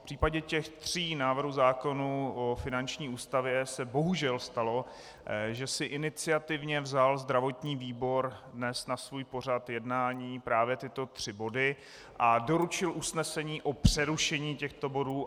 V případě těch tří návrhů zákonů o finanční ústavě se bohužel stalo, že si iniciativně vzal zdravotní výbor dnes na svůj pořad jednání právě tyto tři body a doručil usnesení o přerušení těchto bodů.